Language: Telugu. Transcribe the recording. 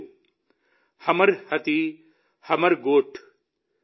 దాని పేరు హమర్ హాథీ హమర్ గోఠ్